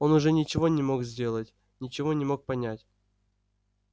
он уже ничего не мог сделать ничего не мог понять